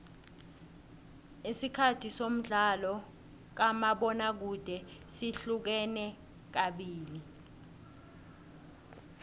isikhathi somdlalo kamabona kude sihlukene kabili